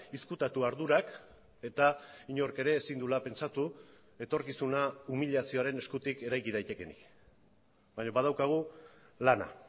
ezkutatu ardurak eta inork ere ezin duela pentsatu etorkizuna umilazioaren eskutik eraiki daitekeenik baina badaukagu lana